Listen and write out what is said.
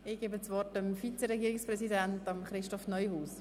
Ich gebe das Wort dem Vize-Regierungspräsidenten Christoph Neuhaus.